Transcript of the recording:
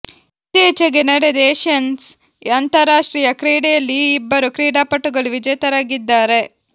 ಇತ್ತೀಚೆಗೆ ನಡೆದ ಏಷಿಯನ್ಸ್ ಅಂತಾರಾಷ್ಟ್ರೀಯ ಕ್ರೀಡೆಯಲ್ಲಿ ಈ ಇಬ್ಬರು ಕ್ರೀಡಾಪಟುಗಳು ವಿಜೇತರಾಗಿದ್ದಾರೆ